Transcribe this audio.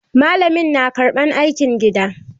Malamin na karɓan aikin gida.